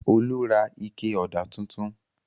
Olú ra ike ọ̀dà tuntun.